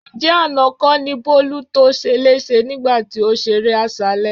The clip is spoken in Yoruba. Ǹjẹ́ àná kọ́ ni Bólú to ṣeléṣe nígbà tí ó ṣeré àṣálẹ́?